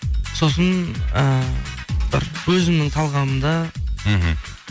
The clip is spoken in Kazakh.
сосын ііі бір өзімнің талғамымда мхм